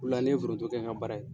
O la ne ye foroto kɛ n ka baara ye.